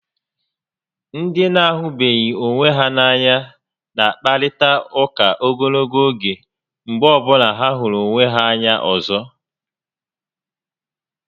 Ndị na-ahụbeghị onwe ha n'anya na akparịta ụka ogologo oge mgbe ọbụla ha hụrụ onwe ha anya ọzọ